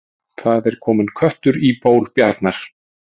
Það er kominn köttur í ból bjarnar